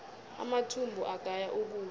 amathumbu agaya ukudla